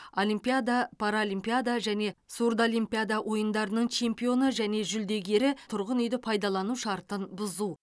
олимпиада паралимпиада және сурдоимпиада ойындарының чемпионы және жүлдегері тұрғын үйді пайдалану шартын бұзу